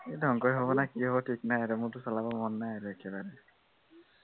এতিয়া ধংসই হব নে কি হব থিক নাই আৰু মোৰটো চলাব মন নাই আৰু একেবাৰে।